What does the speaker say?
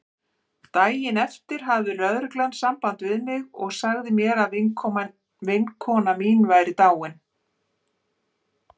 Daginn eftir hafði lögreglan samband við mig og sagði mér að vinkona mín væri dáin.